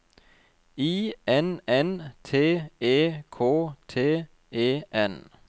I N N T E K T E N